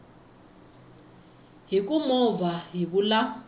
hi ku movha hi vula